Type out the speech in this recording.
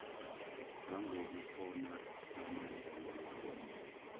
ngangobukhona bamandla nemithombo